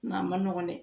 Nka a ma nɔgɔn dɛ